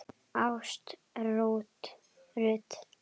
Ásta Rut.